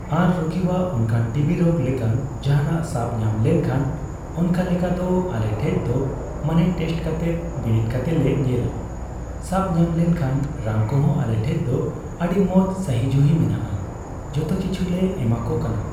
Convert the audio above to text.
ᱟᱨ ᱨᱩᱜᱤᱣᱟᱜ ᱚᱱᱠᱟᱱ ᱴᱤᱵᱤ ᱨᱳᱜ ᱞᱮᱠᱟᱱ ᱡᱟᱦᱟᱸᱱᱟᱜ ᱥᱟᱵ ᱧᱟᱢ ᱞᱚᱱᱠᱷᱟᱡ ᱚᱱᱠᱟᱞᱮᱠᱟ ᱫᱚ ᱟᱞᱮ ᱴᱷᱮᱡ ᱫᱚ ᱢᱟᱱᱮ ᱴᱮᱥᱴ ᱠᱟᱛᱮ ᱵᱤᱱᱤᱰ ᱠᱟᱛᱮ ᱞᱮ ᱧᱮᱞᱟ ᱾ ᱥᱟᱵ ᱧᱟᱢ ᱞᱮᱱᱠᱷᱟᱱ ᱨᱟᱱ ᱠᱚᱦᱚᱸ ᱟᱞᱮ ᱴᱷᱮᱡ ᱫᱚ ᱟᱹᱰᱤ ᱢᱚᱸᱡ ᱥᱟᱦᱤᱡᱩᱦᱤ ᱢᱮᱱᱟᱜᱼᱟ ᱾ ᱡᱮᱛᱮ ᱠᱤᱪᱷᱩ ᱞᱮ ᱮᱢᱟ ᱠᱚ ᱠᱟᱱᱟ ᱾